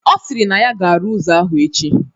Ọ sịrị na ya ga-arụ ụzọ ahụ echi